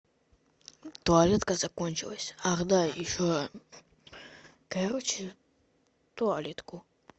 туалетка закончилась ах да еще короче туалетку